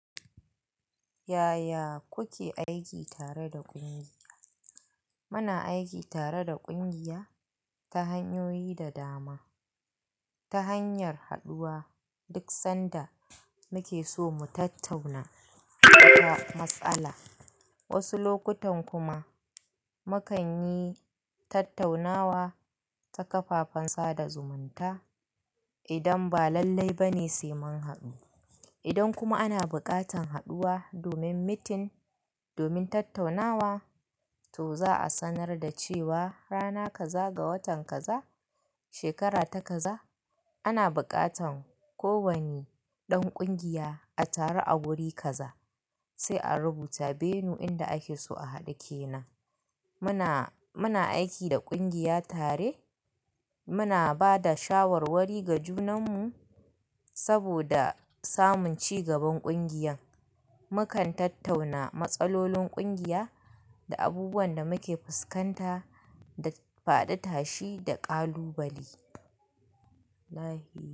Yaya kuke aiki tare da ƙungiya? Muna aiki tare da ƙungiya ta hanyoyi da dama. Ta hanyar haɗuwa duk sanda muke so mu tattauna wata matsala. Wasu lokutan kuma mu kan yi tattaunawa ta kafafen sada zumunta idan ba lallai ba ne sai mun haɗu. Idan kuma ana buƙatar haɗuwa domin meeting, domin tattaunawa, to za a sanar da cewa rana kaza ga watan kaza shekara ta kaza ana buƙatan ko wani ɗan ƙungiya a taru a wuri kaza sai a rubuta venue inda ake so a haɗu ke nan. Muna, muna aiki da ƙungiya tare. Muna ba da shawarwari ga junanmu saboda samun ci gaban ƙungiya. Mu kan tattauna matsalolin ƙungiya da abubuwan da muke fuskanta da faɗi tashi da ƙalubale.